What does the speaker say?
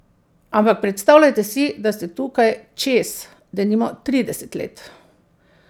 Ampak predstavljajte si, da ste tukaj čez, denimo trideset let.